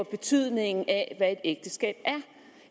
betydningen af hvad et ægteskab er